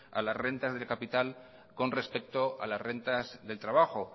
a las renta de capital con respecto a las rentas del trabajo